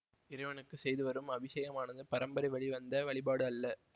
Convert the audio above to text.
இறைவனுக்கு செய்துவரும் அபிசேகமானது பரம்பரை வழி வந்த வழிபாடு அல்ல